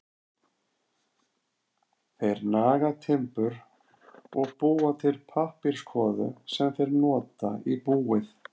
Þeir naga timbur og búa til pappírskvoðu sem þeir nota í búið.